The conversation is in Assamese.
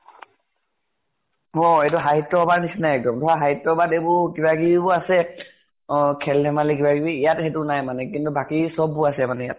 অ এইটো সাহিত্য় সভাৰ নিচিনা এক্দম। ধৰা সাহিত্য় সভাত এইবোৰ কিবা কিবি বোৰ আছে, অ খেল ধেমালী কিবা কিবি। ইয়াত সেইটো নাই মানে। কিন্তু বাকী চব বোৰ আছে মানে ইয়াত।